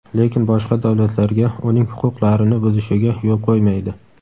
lekin boshqa davlatlarga uning huquqlarini buzishiga yo‘l qo‘ymaydi.